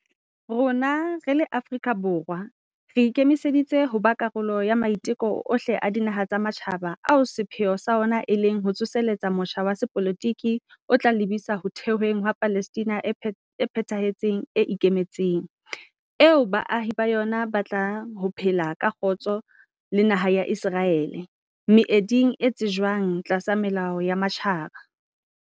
Rona re le Afrika Borwa re ikemiseditse ho ba karolo ya maiteko ohle a dinaha tsa matjhaba ao sepheo sa ona e leng ho tsoseletsa motjha wa sepolotiki o tla lebisa ho thehweng ha Palestina e phethahetseng e ikemetseng, eo baahi ba yona ba tlang ho phela ka kgotso le naha ya Iseraele, meeding e tsejwang tlasa melao ya matjhaba.